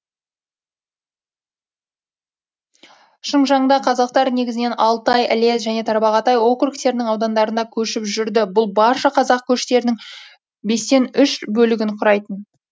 шыңжаңда қазақтар негізінен алтай іле және тарбағатай округтерінің аудандарында көшіп жүрді бұл барша қазақ көштерінің бестен үш бөлігін құрайтын